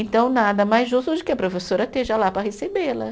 Então, nada mais justo do que a professora esteja lá para recebê-la.